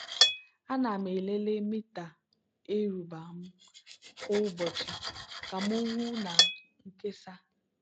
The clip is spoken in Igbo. ana m elele mita eruba m kwa ụbọchị ka m hụ na nkesa.